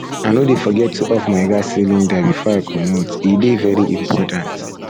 i no dey forget to off my gas cylinder before i comot e dey very important